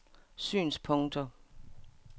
synspunkter